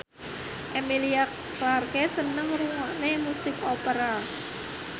Emilia Clarke seneng ngrungokne musik opera